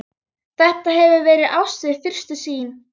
Þetta hefur verið ást við fyrstu sýn.